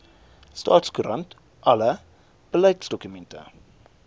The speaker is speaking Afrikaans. staatskoerant alle beleidsdokumente